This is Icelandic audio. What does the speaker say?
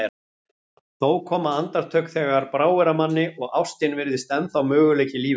Þó koma andartök þegar bráir af manni og ástin virðist ennþá möguleiki í lífinu.